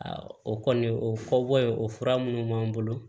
o kɔni o fɔbɔ ye o fura minnu b'an bolo